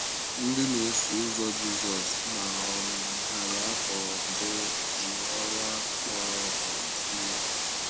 Ndị na-eso ụzọ Jízọs na um narị afọ um mbụ jiri ọrụ ahụ kpọrọ um ihe.